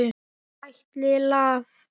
Ætli það?